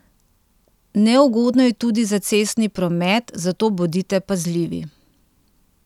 Neugodno je tudi za cestni promet, zato bodite pazljivi.